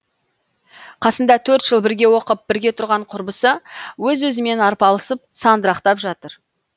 қасында төрт жыл бірге оқып бірге тұрған құрбысы өзі өзімен арпалысып сандырақтап жатыр